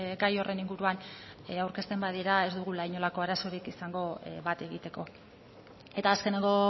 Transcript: gai horren inguruan aurkezten badira ez dugula inolako arazorik izango bat egiteko eta azkeneko